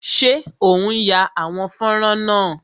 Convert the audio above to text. Ṣé o n ya àwòrán fọ́nrán náà?